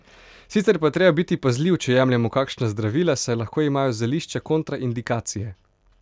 Sicer pa je treba biti pazljiv, če jemljemo kakšna zdravila, saj lahko imajo zelišča kontraindikacije.